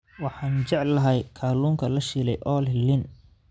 Waxaan jeclahay kalluunka la shiilay oo leh liin.